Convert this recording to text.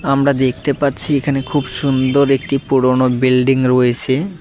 আমরা দেখতে পাচ্ছি এখানে খুব সুন্দর একটি পুরোনো বিল্ডিং রয়েছে।